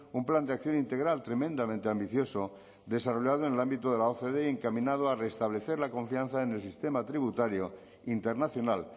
un plan de acción integral tremendamente ambicioso desarrollado en el ámbito de la ocde y encaminado a reestablecer la confianza en el sistema tributario internacional